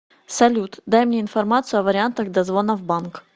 салют дай мне информацию о вариантах дозвона в банк